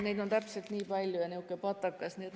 Neid on täpselt nii palju ja niisugune patakas.